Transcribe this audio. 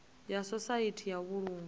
ya sosaithi ya u vhulunga